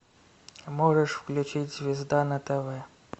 можешь включить звезда на тв